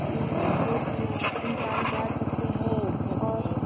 उम्म दो-तीन इंसान बैठ रखें हैं और --